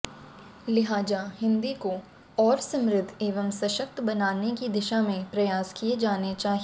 लिहाजा हिंदी को और समृद्ध एवं सशक्त बनाने की दिशा में प्रयास किए जाने चाहिए